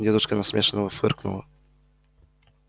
девушка насмешливо фыркнула